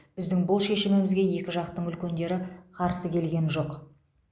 біздің бұл шешімімізге екі жақтың үлкендері қарсы келген жоқ